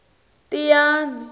tiyani